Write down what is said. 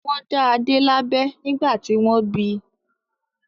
Wọ́n dá Adé lábẹ nígbà tí wọ́n bí.